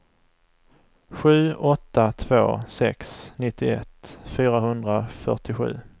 sju åtta två sex nittioett fyrahundrafyrtiosju